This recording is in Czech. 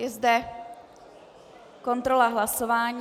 Je zde kontrola hlasování.